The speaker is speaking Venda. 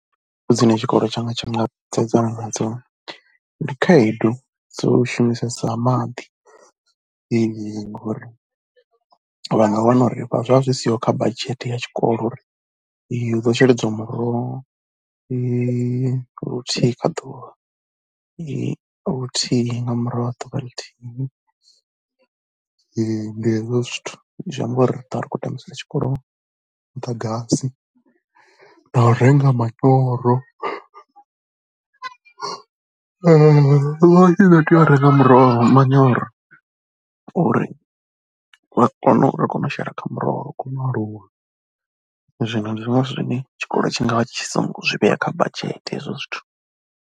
Khaedu dzine tshikolo tshanga tsha nga sedzana nadzo ndi khaedu dzo shumisesa maḓi ngori vha nga wana uri zwa zwi siho kha badzhete ya tshikolo uri hu ḓo sheledziwa muroho luthihi kha ḓuvha, luthihi nga murahu ha ḓuvha na ḽithihi ndi hezwo zwithu. Zwi amba uri ri ḓo vha ri khou tambisea tshikolo muḓagasi na u renga manyoro i ḓo tea u renga muroho, manyoro uri vha kone u, ri kone u shela kha muroho uri u kone u aluwa, zwino ndi zwone zwithu zwine tshikolo tshi nga vha tshi songo zwi vhea kha badzhete hezwo zwithu.